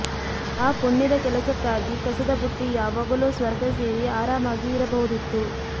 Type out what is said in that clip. ಆ ಪುಣ್ಯದ ಕೆಲಸಕ್ಕಾಗಿ ಕಸದ ಬುಟ್ಟಿ ಯಾವಾಗಲೋ ಸ್ವರ್ಗ ಸೇರಿ ಆರಾಮಾಗಿ ಇರಬಹುದಿತ್ತು